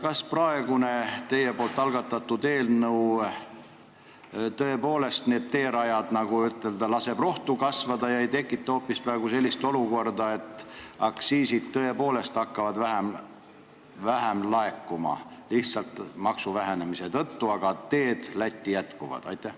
Kas praegune teie algatatud eelnõu tõepoolest need teerajad, nagu ütelda, laseb rohtu kasvada ega tekita hoopis sellist olukorda, kus aktsiisid hakkavad vähem laekuma lihtsalt maksu vähenemise tõttu, aga teekond Lätti jätkub?